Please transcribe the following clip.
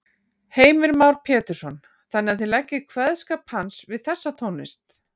Heimir Már Pétursson: Þannig að þið leggið kveðskap hans við þessa tónlist?